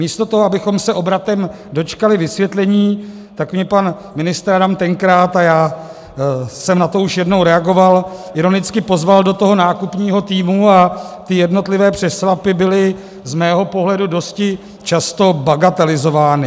Místo toho, abychom se obratem dočkali vysvětlení, tak mě pan ministr Adam tenkrát - a já jsem na to už jednou reagoval - ironicky pozval do toho nákupního týmu a ty jednotlivé přešlapy byly z mého pohledu dosti často bagatelizovány.